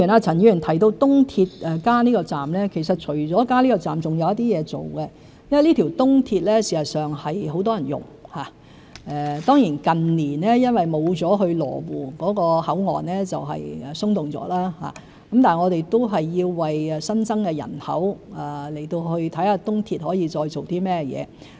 陳議員提到東鐵加建這個站，其實除此以外，還有一些工作要處理，因為這條東鐵線很多人使用，雖然近年因缺少了去羅湖口岸的人流而變得鬆動，但我們仍要為新增人口而考慮東鐵還可以發揮甚麼作用。